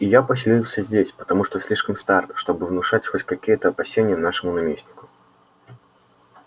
и я поселился здесь потому что слишком стар чтобы внушать хоть какие-то опасения нашему наместнику